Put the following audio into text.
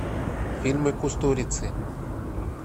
фильмы кустурицы